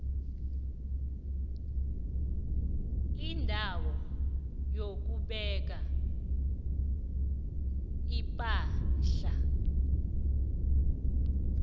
indawo yokubeka ipahla